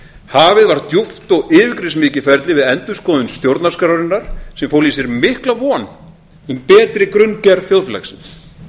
hafið var djúpt og yfirgripsmikið ferli við endurskoðun stjórnarskrárinnar sem fól í sér mikla von um betri grunngerð þjóðfélagsins